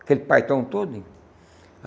Aquele todinho.